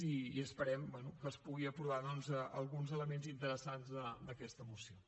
i esperem bé que es puguin aprovar doncs alguns elements interessants d’aquesta moció